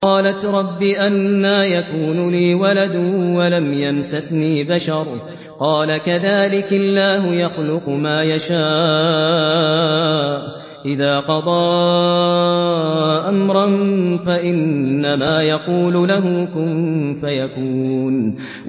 قَالَتْ رَبِّ أَنَّىٰ يَكُونُ لِي وَلَدٌ وَلَمْ يَمْسَسْنِي بَشَرٌ ۖ قَالَ كَذَٰلِكِ اللَّهُ يَخْلُقُ مَا يَشَاءُ ۚ إِذَا قَضَىٰ أَمْرًا فَإِنَّمَا يَقُولُ لَهُ كُن فَيَكُونُ